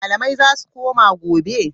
Yaushe malamai zasu koma gobe?